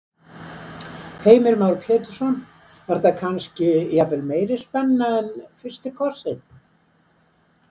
Heimir Már Pétursson: Var þetta kannski, jafnvel meiri spenna en, en fyrsti kossinn?